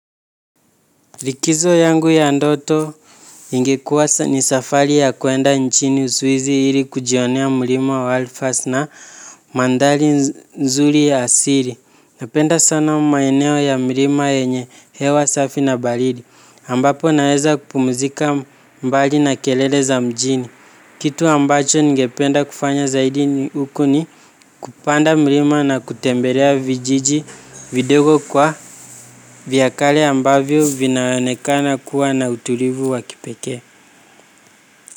Rikizo yangu ya ndoto ingekuwa ni safari ya kwenda nchini uswizi hili kujionea mlima wa alifas na mandhari nzuri ya asiri. Napenda sana mmaeneo ya mlima yenye hewa safi na baridi. Ambapo naeza kupumzika mbali na kelele za mjini. Kitu ambacho nigependa kufanya zaidi huko ni kupanda mlima na kutembelea vijiji vidogo kwa vyakale ambavyo vinaonekana kuwa na utulivu waki pekee.